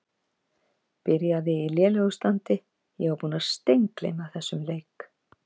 Byrjaði í lélegu standi Ég var búinn að steingleyma þessum leik.